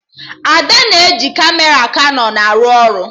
Ada na-eji Kamera Kanọn arụ ọrụ